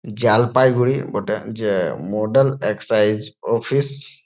জালপাইগুঁড়ি বটে যে model excise office.